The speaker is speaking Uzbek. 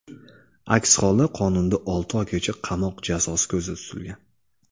Aks holda qonunda olti oygacha qamoq jazosi ko‘zda tutilgan.